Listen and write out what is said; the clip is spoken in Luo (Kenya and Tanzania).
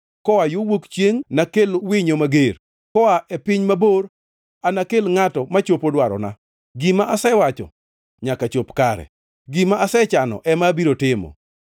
Koa yo wuok chiengʼ nakel winyo mager, koa e piny mabor anakel ngʼato machopo dwarona. Gima asewacho nyaka chop kare, gima asechano ema abiro timo.